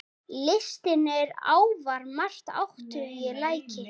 Listin er afar máttugt tæki.